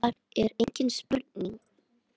Það er engin spurning